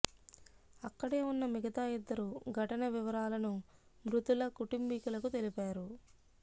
అక్కడే ఉన్న మిగతా ఇద్దరు ఘటన వివరాలను మృతుల కుటుంబీకులకు తెలిపారు